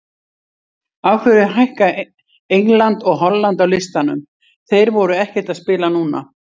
Af hverju hækka England og Holland á listanum, þeir voru ekkert að spila núna?